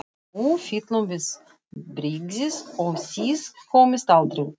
Nú fyllum við byrgið og þið komist aldrei út!